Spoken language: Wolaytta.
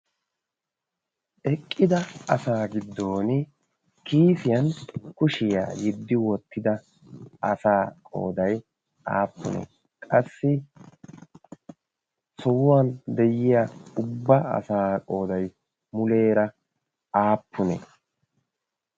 eqqida asaa giddon kiisiyan kushiyaa yiddi wottida asaa qooday aappune qassi sohuwan de'iya ubba asaa qooday muleera aappune?